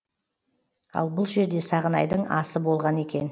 ал бұл жерде сағынайдың асы болған екен